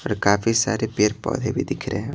और काफी सारे पेर पौधे भी दिख रहे हैं।